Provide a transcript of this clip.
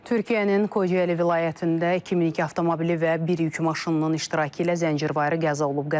Türkiyənin Kocaeli vilayətində 2002 avtomobili və bir yük maşınının iştirakı ilə zəncirvarı qəza olub.